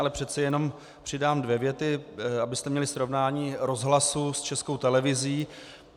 Ale přece jenom přidám dvě věty, abyste měli srovnání Rozhlasu s Českou televizí.